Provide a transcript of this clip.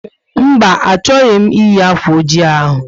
Mba, achọghị m eyi akwa oji ahụ